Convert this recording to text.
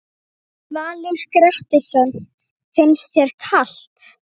Valur Grettisson: Finnst þér kalt?